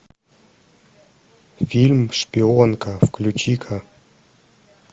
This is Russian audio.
фильм шпионка включи ка